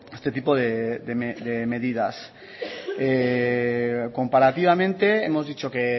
este tipo de medidas comparativamente hemos dicho que